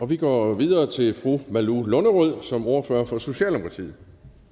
vi går videre til fru malou lunderød som ordfører for socialdemokratiet